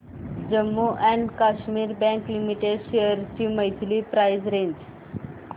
Jammu and Kashmir bank limited shares ची monthly price range